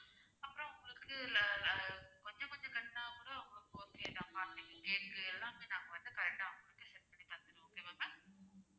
அப்பறம் உங்களுக்கு அஹ் ஹம் கொஞ்சம் கொஞ்சம் கட்டுனா கூட உங்களுக்கு okay தான் party க்கு cake உ எல்லாமே நாங்க வந்து correct ஆ set பண்ணி தந்திருவோம் okay வா ma'am